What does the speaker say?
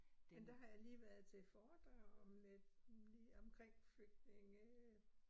Men der har jeg lige været til et foredrag om øh omkring flygtninge øh